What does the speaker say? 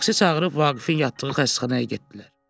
Taksi çağırıb Vaqifin yatdığı xəstəxanaya getdilər.